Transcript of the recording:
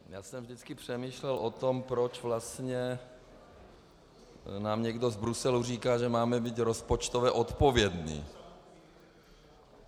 Já jsem vždycky přemýšlel o tom, proč vlastně nám někdo z Bruselu říká, že máme být rozpočtově odpovědní.